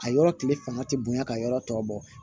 A yɔrɔ tile fanga tɛ bonya ka yɔrɔ tɔ bɔ